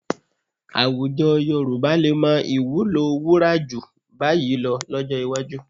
Àwùjọ Yorùbá lè mọ ìwúlò wurù jù bá yìí lọ lọ́jọ́ iwájú